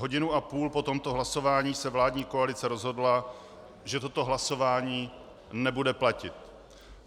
Hodinu a půl po tomto hlasování se vládní koalice rozhodla, že toto hlasování nebude platit.